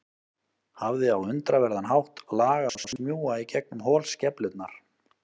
Hafði á undraverðan hátt lag á að smjúga í gegnum holskeflurnar.